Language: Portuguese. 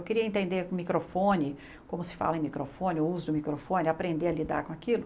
Eu queria entender o microfone, como se fala em microfone, o uso do microfone, aprender a lidar com aquilo.